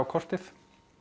kortið